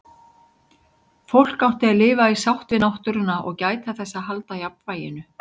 Fólk átti að lifa í sátt við náttúruna og gæta þess að halda jafnvæginu.